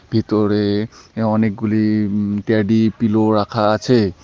ভিতরে আঃ অনেকগুলি উম ট্যাডি পিলো রাখা আছে।